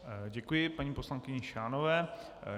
Děkuji paní poslankyni Šánové.